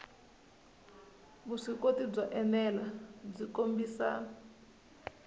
vuswikoti byo enela byi kombisa